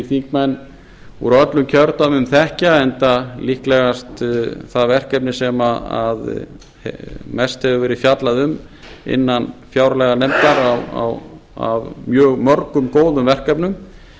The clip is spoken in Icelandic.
þingmenn úr öllum kjördæmum þekkja enda líklegast það verkefni sem mest hefur verið fjallað um af mjög mörgum góðum verkefnum